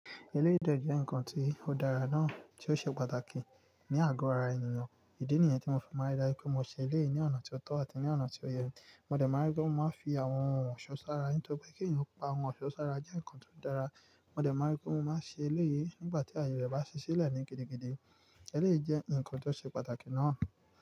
Eléyìí de jẹ́ nǹkan tí ó dára náà tí ó ṣe pàtàkì ní àgọ́ ara ènìyàn. Idí nìyẹn tí mo fi máa ń dára pé mo ṣe eléyìí ní ọ̀nà tí ó tọ́ àti ní ọ̀nà tí ó yẹ. Mo dẹ̀ máa rí pé mo máa ń fi àwọn ohun ọ̀ṣọ́ sára nítorí pé kí ènìyàn pa ohun ọ̀ṣọ́ sára jẹ́ nǹkan tó dára. Mo dẹ̀ máa rí pé mo máa ṣe eléyìí nígbà tí àyè bá ṣe sílẹ̀ ní gidigidi. Eléyìí jẹ́ nǹkan tó ṣe pàtàkì náà.